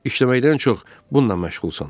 İşləməkdən çox bununla məşğulsan.